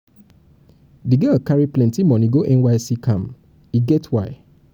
di girl carry plenty moni go nysc camp e get why.